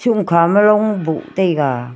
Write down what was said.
hamkha ma long boh taiga.